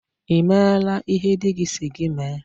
Ị meela ihe dị gị si gị mee?